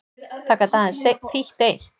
Það gat aðeins þýtt eitt.